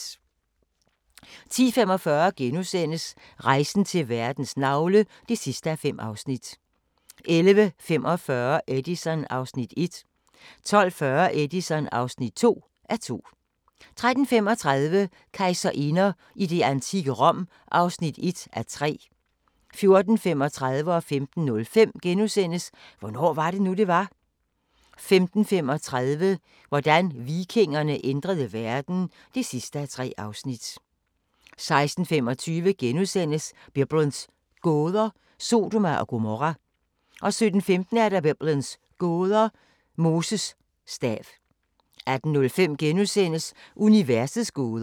10:45: Rejsen til verdens navle (5:5)* 11:45: Edison (1:2) 12:40: Edison (2:2) 13:35: Kejserinder i det antikke Rom (1:3) 14:35: Hvornår var det nu, det var? * 15:05: Hvornår var det nu, det var? 15:35: Hvordan vikingerne ændrede verden (3:3) 16:25: Biblens gåder – Sodoma og Gomorra * 17:15: Biblens gåder – Moses stav 18:05: Universets gåder *